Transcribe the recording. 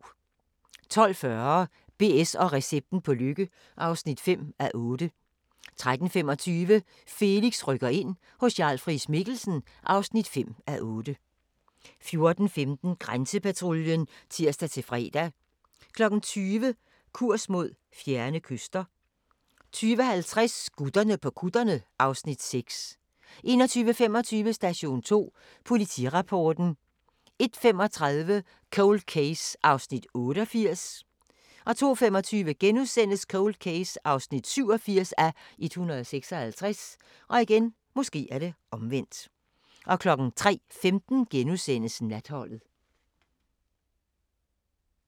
12:40: BS & recepten på lykke (5:8) 13:25: Felix rykker ind – hos Jarl Friis-Mikkelsen (5:8) 14:15: Grænsepatruljen (tir-fre) 20:00: Kurs mod fjerne kyster 20:50: Gutterne på kutterne (Afs. 6) 21:25: Station 2 Politirapporten 01:35: Cold Case (88:156) 02:25: Cold Case (87:156)* 03:15: Natholdet *